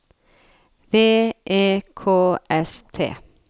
V E K S T